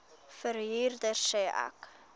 verhuurder sê ek